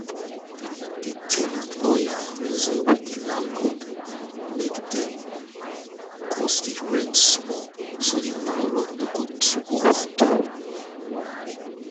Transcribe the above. the ten ant lawyer reason with the landlord make dem cut the rent small so the landlord no go too overdo